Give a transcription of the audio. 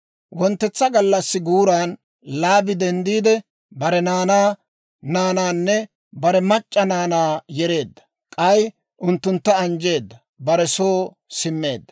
Wonttetsa gallassi guuran Laabi denddiide, bare naanaa naanaanne bare mac'c'a naanaa yereedda; k'ay unttuntta anjjeedda. Bare soo simmeedda.